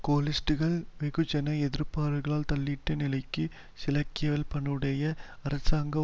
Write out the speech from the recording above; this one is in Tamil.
கோலிஸ்ட்டுக்கள் வெகுஜன எதிர்ப்புக்களால் தள்ளாடும் நிலையிலும் சிராக்வில்ப்பனுடைய அரசாங்கம்